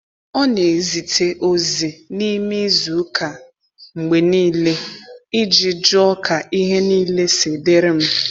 Ọ na ezite ozi n’ime izu ụka mgbe niile iji jụọ ka ihe niile si dịrị m.